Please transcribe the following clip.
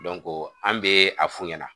an bɛ a f'u ɲɛna.